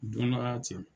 Don dɔ la cɛ